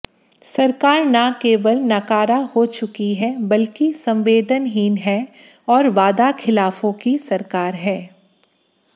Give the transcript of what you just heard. सरकार न केवल नकारा हो चुकी है बल्कि संवेदनहीन है और वादाखिलाफों की सरकार है